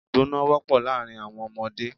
Ìgbọná wọ́pọ̀ láàrin àwọn ọmọdé.